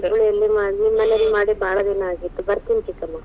ಹುಬ್ಬಳಿಲಿ ಮಾಡಿ, ನಿಮ್ಮ ಮನೇಲಿ ಭಾಳ ದಿನಾ ಆಗಿತ್ತು ಬತೇ೯ನ್ ಚಿಕ್ಕಮ್ಮ.